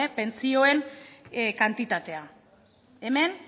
pentsioen kantitatea hemen